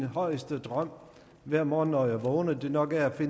højeste drøm hver morgen når man vågner nok er at